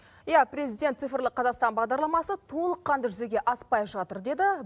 иә президент цифрлы қазақстан бағдарламасы толыққанды жүзеге аспай жатыр деді